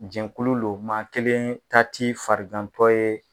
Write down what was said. Jɛnkulu lo maa kelen ta ti farigantɔ ye.